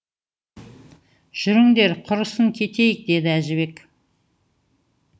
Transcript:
жүріңдер құрысын кетейік деді әжібек